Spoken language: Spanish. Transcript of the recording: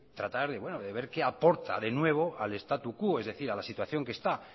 tratar de ver qué aporta de nuevo al statu quo es decir a la situación que está